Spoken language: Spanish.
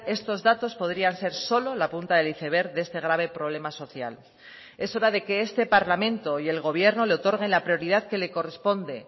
estos datos podrían ser solo la punta del iceberg de este grave problema social es hora de que este parlamento y el gobierno le otorguen la prioridad que le corresponde